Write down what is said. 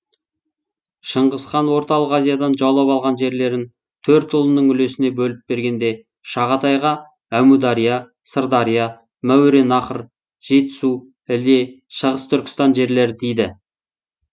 шыңғыс хан орталық азиядан жаулап алған жерлерін төрт ұлының үлесіне бөліп бергенде шағатайға әмудария сырдария мауераннахр жетісу іле шығыс түркістан жерлері тиді